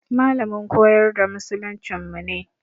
Malamin koyar da musuluncinmu ne.